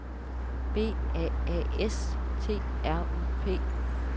B A A S T R U P